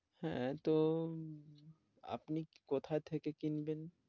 হ্যাঁ, তো আপনি কোথা থেকে কিনবেন?